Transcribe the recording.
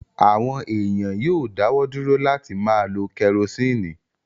Àwọn èèyàn yóò dáwọ́ dúró láti máa lo kẹrosíìnì